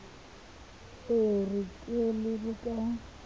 e re ke lebe ka